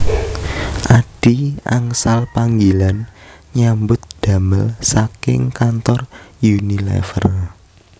Adhi angsal panggilan nyambut damel saking kantor Unilever